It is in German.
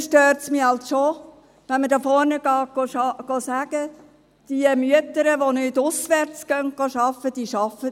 Dann stört es mich halt schon, wenn man nach vorne kommt und sagt, dass diejenigen Mütter, die nicht auswärts arbeiten, nicht arbeiten würden.